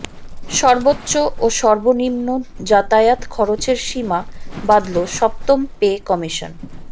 সর্বোচ্চ ও সর্বনিম্ন যাতায়াত খরচের সীমা বাঁধল সপ্তম পে কমিশন